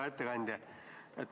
Hea ettekandja!